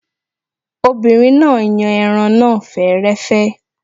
Obìnrin náà yan ẹran náà fẹ́rẹ́fẹ́